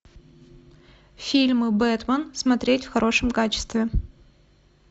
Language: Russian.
фильмы бэтмен смотреть в хорошем качестве